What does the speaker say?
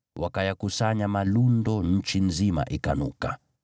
Wakayakusanya malundo, nchi nzima ikanuka.